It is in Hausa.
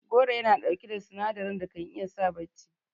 Goro Yana ɗauki da sinadarin da kan iya sa bacci